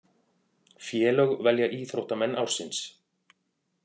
Félög velja íþróttamenn ársins